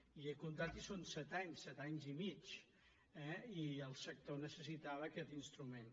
i ho he comptat i són set anys set anys i mig eh i el sector necessitava aquest instrument